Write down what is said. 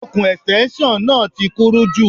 Ọ̀kùn Ẹ̀stẹ́nṣọ̀n náà ti kúrú jù